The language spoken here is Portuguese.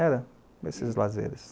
Era esses lazeres.